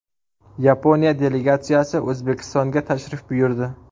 Yaponiya delegatsiyasi O‘zbekistonga tashrif buyurdi.